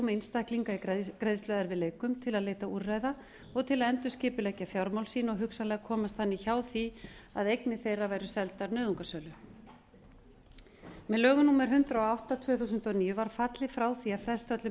einstaklinga í greiðsluerfiðleikum til að leita úrræða og til að endurskipuleggja fjármál sín og hugsanlega komast hjá því að eignir þeirra væru seldar nauðungarsölu með lögum númer hundrað og átta tvö þúsund og níu var fallið frá því að fresta öllum